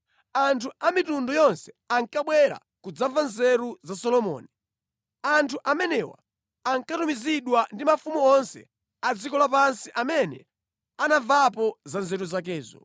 Anthu a mitundu yonse ankabwera kudzamva nzeru za Solomoni. Anthu amenewa ankatumizidwa ndi mafumu onse a dziko lapansi amene anamvapo za nzeru zakezo.